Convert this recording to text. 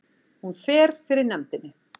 Hún fer fyrir nefndinni